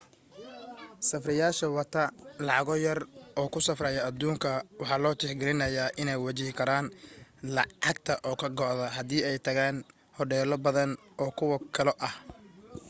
safrayaasha wata lacago yar oo ku safraya aduunka waxa loo tix geliyaa iney wajihi karaan lacagta oo ka go'da haddii ay tagaan hodheelo badan oo kuwan oo kale ah